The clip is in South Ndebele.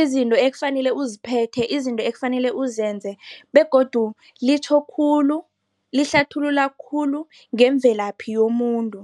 izinto ekufanele uziphethe, izinto ekufanele uzenze begodu litjho khulu, lihlathulula khulu ngemvelaphi yomuntu.